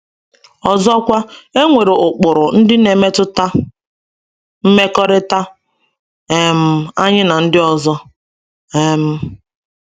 Ọzọkwa, e nwere ụkpụrụ ndị na-emetụta mmekọrịta um anyị na ndị ọzọ. um